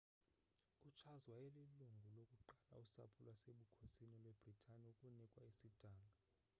ucharles wayelilungu lokuqala usapho lwasebukhosini lwebritane ukunikwa isidanga